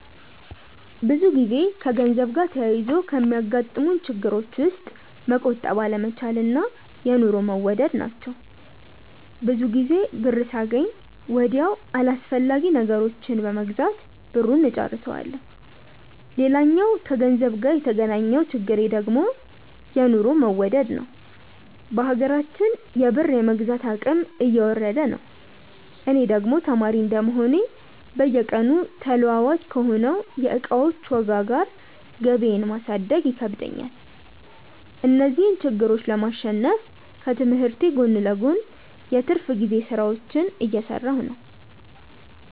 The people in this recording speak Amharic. ብዙ ጊዜ ከገንዘብ ጋር ተያይዞ ከሚያጋጥሙኝ ችግሮች ውስጥ መቆጠብ አለመቻል እና የኑሮ መወደድ ናቸው። ብዙ ጊዜ ብር ሳገኝ ወዲያው አላስፈላጊ ነገሮችን በመግዛት ብሩን እጨርሰዋለሁ። ሌላኛው ከገንዘብ ጋር የተገናኘው ችግሬ ደግሞ የኑሮ መወደድ ነዉ። በሀገራችን የብር የመግዛት አቅም እየወረደ ነው። እኔ ደግሞ ተማሪ እንደመሆኔ በየቀኑ ተለዋዋጭ ከሆነው የእቃዎች ዋጋ ጋር ገቢየን ማሳደግ ይከብደኛል። እነዚህን ችግሮች ለማሸነፍ ከትምህርቴ ጎን ለጎን የትርፍ ጊዜ ስራዎችን እየሰራሁ ነው።